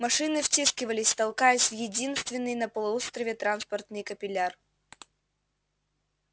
машины втискивались толкаясь в единственный на полуострове транспортный капилляр